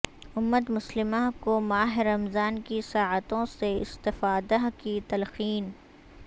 امت مسلمہ کو ماہ رمضان کی ساعتوں سے استفادہ کی تلقین